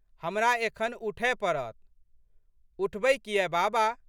हमरा एखन उठए पड़त। उठबै कियै बाबा।